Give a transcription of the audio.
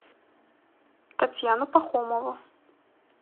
татьяну пахомову